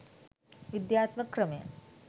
විද්‍යාත්මක ක්‍රමය